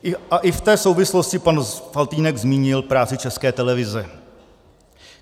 A i v té souvislosti pan Faltýnek zmínil práci České televize.